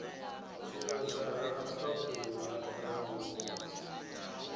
tshivhasa ha mphaphuli ha rambuḓa